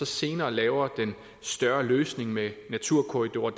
senere laver den større løsning med naturkorridorer